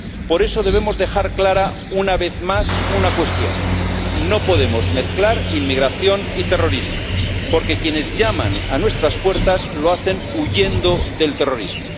Por eso debemos dejar clara, una vez más, una cuestión no podemos mezclar inmigración y terrorismo, porque quienes llaman a nuestras puertas lo hacen huyendo del terrorismo.